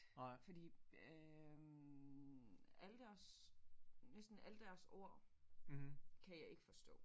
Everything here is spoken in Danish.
Fordi øh alle deres næsten alle deres ord kan jeg ikke forstå